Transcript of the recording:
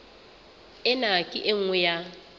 ena ke e nngwe ya